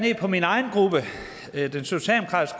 ned på min egen